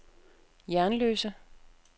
Jernløse